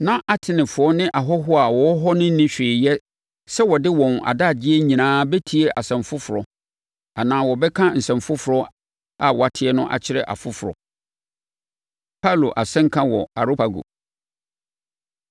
Na Atenefoɔ ne ahɔhoɔ a wɔwɔ hɔ no nni hwee yɛ sɛ wɔde wɔn adagyeɛ nyinaa bɛtie nsɛm foforɔ anaa wɔbɛka nsɛm foforɔ a wɔate no akyerɛ afoforɔ. Paulo Asɛnka Wɔ Areopago